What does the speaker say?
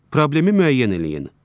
Problemi müəyyən eləyin.